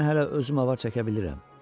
Mən hələ özüm avar çəkə bilirəm.